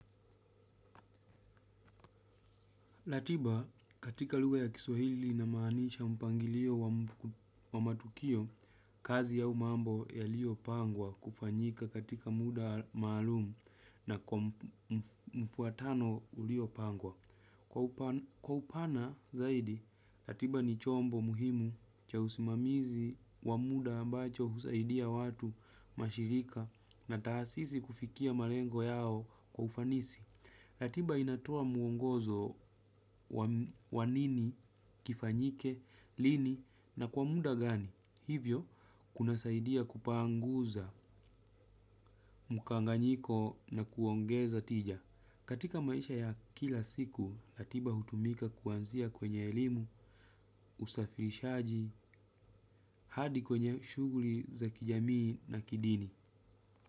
Ratiba katika lugha ya kiswahili inamaanisha mpangilio wa matukio kazi au mambo ya lio pangwa kufanyika katika muda maalum na kwa mfuatano uliopangwa. Kwa upana zaidi ratiba ni chombo muhimu cha usimamizi wa muda ambacho husaidia watu mashirika na taasisi kufikia malengo yao kwa ufanisi. Ratiba inatoa muongozo wa nini, kifanyike, lini na kwa muda gani. Hivyo, kuna saidia kupanguza mkanganyiko na kuongeza tija. Katika maisha ya kila siku, ratiba hutumika kuanzia kwenye elimu, usafirishaji, hadi kwenye shughuli za kijamii na kidini.